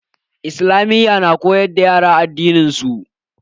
Islamiyya na koyar da yara addininsu.